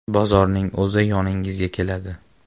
Bozorning o‘zi yoningizga keladi.